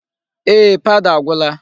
Ee, powder agwụla.